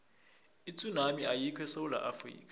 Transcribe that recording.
itsunami ayikho esewula afrika